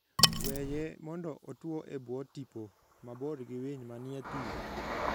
Weye mondo otwo e bwo tipo, mabor gi winy manie thim.